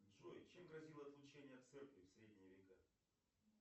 джой чем грозило отлучение от церкви в средние века